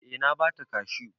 Eh na ba ta kashu.